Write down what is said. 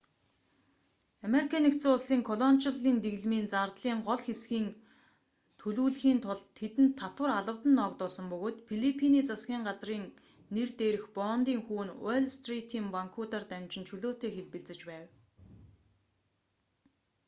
ану-ын колоничлолын дэглэмийн зардлын гол хэсгийн төлүүлэхийн тулд тэдэнд татвар албадан ногдуулсан бөгөөд филиппиний засгийн газрын нэр дээрх бондын хүү нь уолл стритийн банкуудаар дамжин чөлөөтэй хэлбэлзэж байв